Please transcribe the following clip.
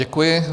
Děkuji.